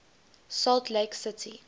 salt lake city